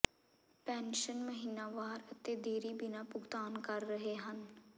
pension ਮਹੀਨਾਵਾਰ ਅਤੇ ਦੇਰੀ ਬਿਨਾ ਭੁਗਤਾਨ ਕਰ ਰਹੇ ਹਨ